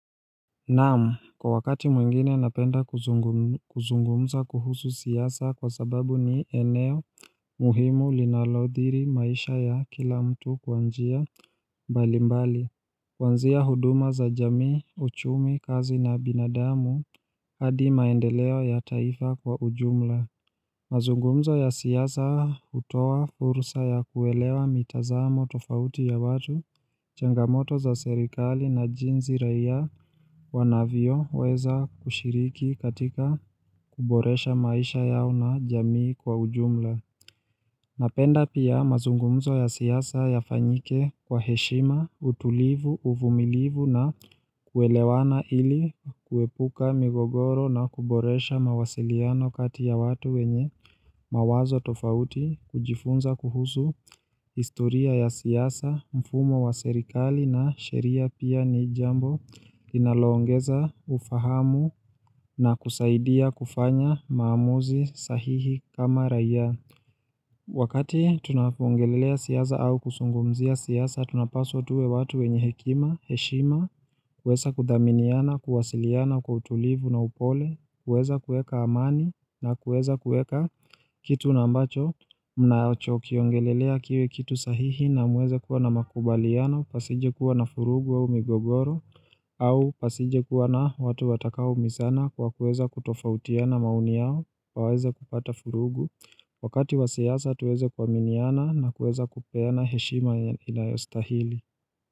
Naam, kwa wakati mwingine napenda kuzungumza kuhusu siasa kwa sababu ni eneo muhimu linaloathiri maisha ya kila mtu kwa njia mbali mbali Kuanzia huduma za jamii, uchumi, kazi na binadamu, hadi maendeleo ya taifa kwa ujumla mazungumzo ya siasa hutoa fursa ya kuelewa mitazamo tofauti ya watu, changamoto za serikali na jinsi raia wanavyoweza kushiriki katika kuboresha maisha yao na jamii kwa ujumla. Napenda pia mazungumzo ya siasa yafanyike kwa heshima, utulivu, uvumilivu na kuelewana ili kuepuka migogoro na kuboresha mawasiliano kati ya watu wenye mawazo tofauti, kujifunza kuhusu, historia ya siasa, mfumo wa serikali na sheria pia ni jambo linaloongeza ufahamu na kusaidia kufanya maamuzi sahihi kama raia. Wakati tunapoongelelea siasa au kuzungumzia siasa, tunapaswa tuwe watu wenye hekima, heshima, kuweza kudhaminiana, kuwasiliana kwa utulivu na upole, kuweza kuweka amani na kuweza kuweka kitu na ambacho, mnachokiongelelea kiwe kitu sahihi na muweze kuwa na makubaliana, pasije kuwa na vurugu aa migogoro, au pasije kuwa na watu watakaoumizana kwa kuweza kutofautiana maoni yao, waweze kupata vurugu. Wakati wa siasa tuweze kuaminiana na kuweza kupeana heshima inayostahili.